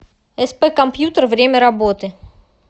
сп компьютер время работы